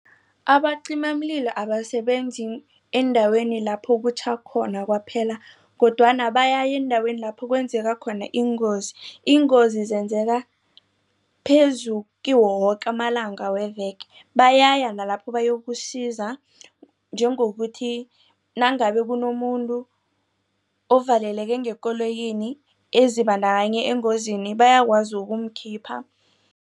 Abacimamililo abasebenzi endaweni lapho kutjha khona kwaphela kodwana bayaya eendaweni lapho kwenzeka khona iingozi. Iingozi zenzeka phezu kiwo woke amalanga weveke bayaya nalapho bayokusiza. Njengokuthi nangabe kunomuntu ovaleleke ngekoloyini ezibandakanye engozini bayakwazi ukumkhipha.